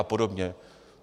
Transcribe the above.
A podobně.